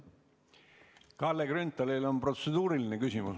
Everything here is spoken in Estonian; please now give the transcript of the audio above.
Ma saan aru, et Kalle Grünthalil on protseduuriline küsimus.